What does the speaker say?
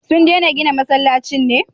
Sun dena gina masallaci ne?